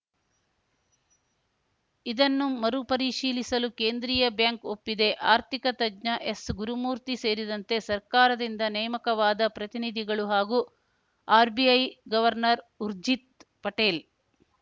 ಇದನ್ನು ಮರುಪರಿಶೀಲಿಸಲು ಕೇಂದ್ರೀಯ ಬ್ಯಾಂಕ್‌ ಒಪ್ಪಿದೆ ಆರ್ಥಿಕ ತಜ್ಞ ಎಸ್‌ ಗುರುಮೂರ್ತಿ ಸೇರಿದಂತೆ ಸರ್ಕಾರದಿಂದ ನೇಮಕವಾದ ಪ್ರತಿನಿಧಿಗಳು ಹಾಗೂ ಆರ್‌ಬಿಐ ಗವರ್ನರ್‌ ಊರ್ಜಿತ್‌ ಪಟೇಲ್‌